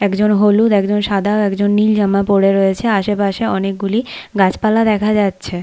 একজন হলুদ একজন সাদা একজন নীল জামা পরে রয়েছে আশেপাশে অনেকগুলি গাছপালা দেখা যাচ্ছে।